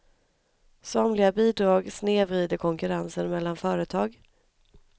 Somliga bidrag snedvrider konkurrensen mellan företag.